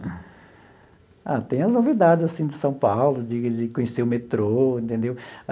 Ah, tem as novidades assim de São Paulo, de de conhecer o metrô, entendeu?